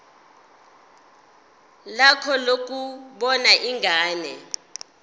lakho lokubona ingane